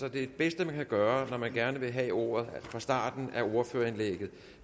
at det bedste man kan gøre når man gerne vil have ordet er fra starten af ordførerindlægget